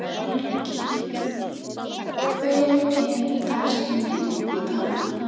Valgý, hver er dagsetningin í dag?